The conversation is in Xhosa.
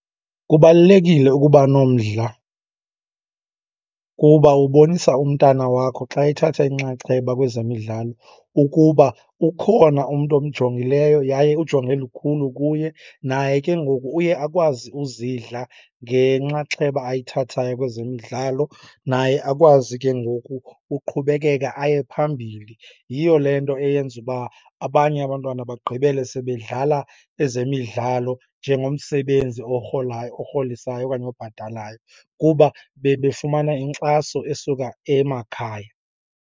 Kubalulekile ukuba nomdla kuba ubonisa umntana wakho xa ethatha inxaxheba kwezemidlalo ukuba ukhona umntu omjongileyo yaye ujonge lukhulu kuye. Naye ke ngoku uye akwazi uzidla ngenxaxheba ayithathayo kwezemidlalo, naye akwazi ke ngoku uqhubekeka aye phambili. Yiyo le nto eyenza uba abanye abantwana bagqibele sebedlala ezemidlalo njengomsebenzi orholayo orholisayo okanye obhatalayo, kuba bebefumana inkxaso esuka emakhaya.